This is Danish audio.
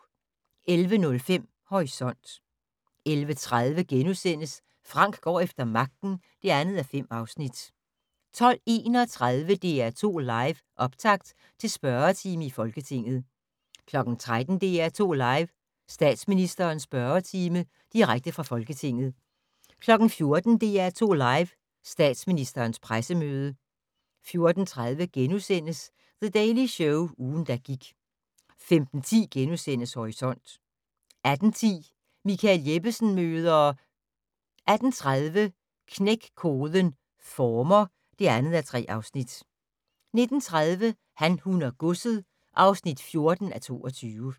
11:05: Horisont 11:30: Frank går efter magten (2:5)* 12:31: DR2 Live: Optakt til spørgetime i Folketinget 13:00: DR2 Live: Statsministerens spørgetime - direkte fra Folketinget 14:00: DR2 Live: Statsministerens pressemøde 14:30: The Daily Show - ugen, der gik * 15:10: Horisont * 18:10: Michael Jeppesen møder ... 18:30: Knæk koden - former (2:3) 19:30: Han, hun og godset (14:22)